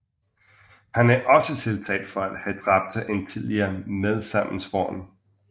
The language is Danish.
Han er også tiltalt for at have dræbt en tidligere medsammensvoren